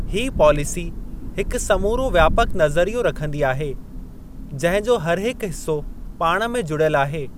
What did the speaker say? हीअ पॉलिसी हिकु समूरो व्यापक नज़रियो रखंदी आहे, जंहिं जो हरहिकु हिसो पाण में जुड़ियल आहे।